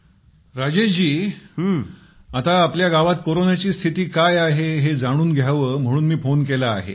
पंतप्रधानः राजेश जी आता आपल्या गावात कोरोनाची स्थिती काय आहे हे जाणून घ्यावे म्हणून मी फोन केला आहे